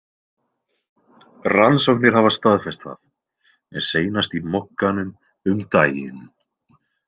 Rannsóknir hafa staðfest það, seinast í Mogganum um daginn.